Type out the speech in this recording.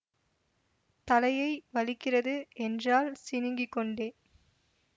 தலையை வலிக்கிறது என்றாள் சிணுங்கிக் கொண்டே